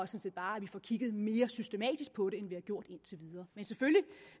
set bare at vi får kigget mere systematisk på det end vi har gjort indtil videre men selvfølgelig